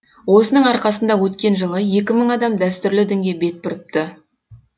осының арқасында өткен жылы екі мың адам дәстүрлі дінге бет бұрыпты